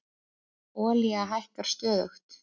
Olía hækkar stöðugt